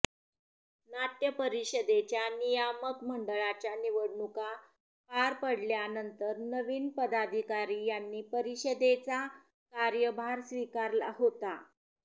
नाट्य परिषदेच्या नियामक मंडळाच्या निवडणुका पार पडल्या नंतर नविन पदाधिकारी यांनी परिषदेचा कार्यभार स्वीकारला होता